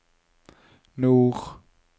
nord